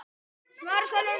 Það líst mér ekki á.